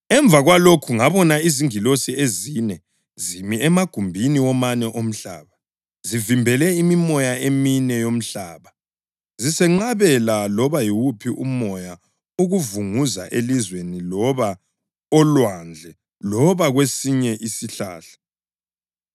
Emva kwalokhu ngabona izingilosi ezine zimi emagumbini womane omhlaba, zivimbele imimoya emine yomhlaba zisenqabela loba yiwuphi umoya ukuvunguza elizweni loba olwandle loba kwesinye isihlahla.